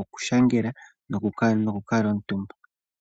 oku shangela noku kamutumba.